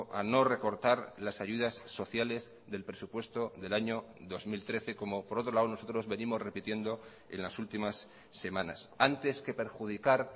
a no recortar las ayudas sociales del presupuesto del año dos mil trece como por otro lado nosotros venimos repitiendo en las últimas semanas antes que perjudicar